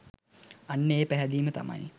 අන්න ඒ පැහැදීම තමයි